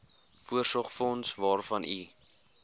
voorsorgsfonds waarvan u